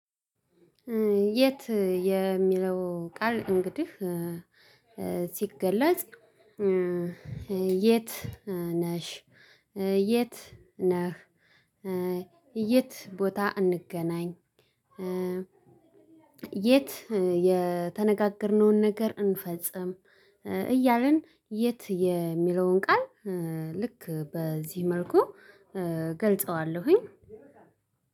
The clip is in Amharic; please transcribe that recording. "የት" የሚለው ቃል እንግዲህ ሲገለፅ፣ የት ነሽ? የት ነህ? የት ቦታ እንገናኝ? የት የተነጋገርንውን ነገር እንፈፅም? እያልን የት የሚለውን ቃ፣ ል ልክ በዚህ መልኩ እገልፀዋለሁኝ።